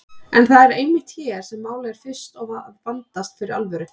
En það er einmitt hér sem málið fer fyrst að vandast fyrir alvöru.